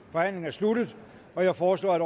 forhandlingen sluttet jeg foreslår at